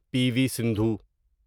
پی V Sindhu